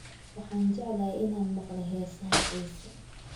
Waxaan jeclahay inaan maqlo heesaha Ciise